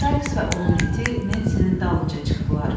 Saiks və onun iti Nensinin dalınca çıxdılar.